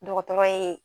Dɔgɔtɔrɔ ye